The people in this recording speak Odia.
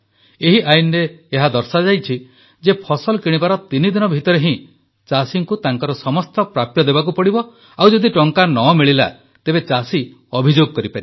ଏହି ଆଇନରେ ଏହା ଦର୍ଶାଯାଇଛି ଯେ ଫସଲ କିଣିବାର ତିନିଦିନ ଭିତରେ ହିଁ ଚାଷୀଙ୍କୁ ତାଙ୍କର ସମସ୍ତ ପ୍ରାପ୍ୟ ଦେବାକୁ ପଡିବ ଓ ଯଦି ଟଙ୍କା ନ ମିଳିଲା ତେବେ ଚାଷୀ ଅଭିଯୋଗ କରିପାରିବେ